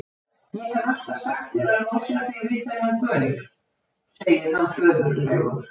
Ég hef alltaf sagt þér að losa þig við þennan gaur, segir hann föðurlegur.